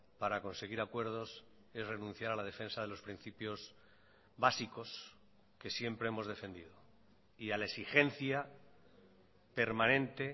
para conseguir acuerdos es renunciar a la defensa de los principios básicos que siempre hemos defendido y a la exigencia permanente